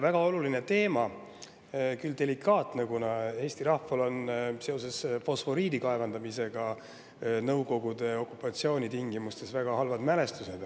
Väga oluline teema, küll delikaatne, kuna Eesti rahval on seoses fosforiidi kaevandamisega Nõukogude okupatsiooni tingimustes väga halvad mälestused.